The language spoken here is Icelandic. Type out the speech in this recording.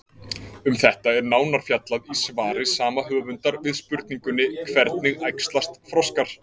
Um þetta er nánar fjallað í svari sama höfundar við spurningunni Hvernig æxlast froskar?